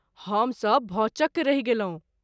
हम सभ भौंचक रहि गेलहुँ।